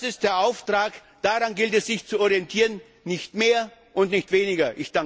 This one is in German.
Das ist der Auftrag, daran gilt es sich zu orientieren, nicht mehr und nicht weniger.